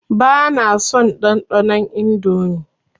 Ba na son ɗanɗanon Indomie.